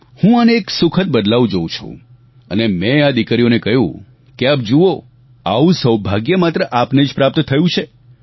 હું આને એક સુખદ બદલાવ જોવું છું અને મેં આ દિકરીઓને કહ્યું કે આપ જુઓ આવુ સૌભાગ્ય માત્ર આપને જ પ્રાપ્ત થયું છે